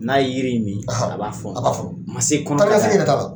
N'a yeɔ yiri in min a b'a fɔnɔ ma se kɔnɔ fara yɛrɛ la taa ni ka segin yɛrɛ t'a la